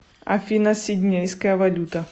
афина сиднейская валюта